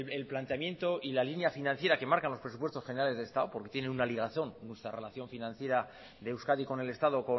el planteamiento y la línea financiera que marcan los presupuestos generales del estado porque tiene una ligación nuestra relación financiera de euskadi con el estado